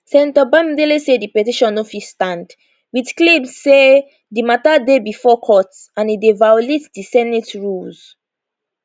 senator bamidele say di petition no fit stand wit claims say di matter dey bifor court and e dey violate di senate rules